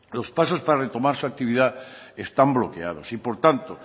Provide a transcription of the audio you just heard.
los pasos para retomar su actividad están bloqueados y por tanto